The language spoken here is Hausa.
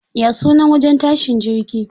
Ya sunan wajen tashin jirgi?